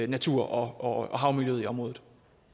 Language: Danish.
natur og havmiljøet i området